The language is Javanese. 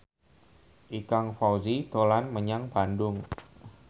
Ikang Fawzi dolan menyang Bandung